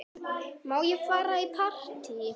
Má ég fara í partí?